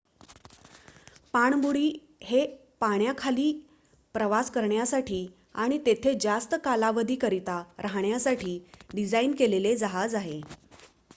पाणबुडी हे पाण्याखाली प्रवास करण्यासाठी आणि तेथे जास्त कालावधीकरिता राहण्यासाठी डिझाईन केलेले जहाज आहे